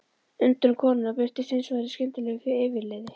Undrun konunnar birtist hins vegar í skyndilegu yfirliði.